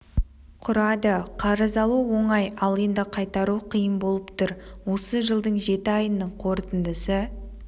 құрады қарыз алу оңай ал енді қайтару қиын болып тұр осы жылдың жеті айының қорытындысы